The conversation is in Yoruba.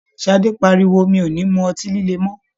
Ṣadé pariwo "mi ò ní mú ọtí líle mọ!́".